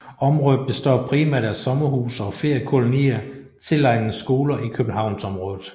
Området består primært af sommerhuse og feriekolonier tilegnet skoler i Københavnsområdet